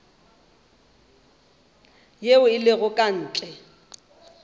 ye e lego ka ntle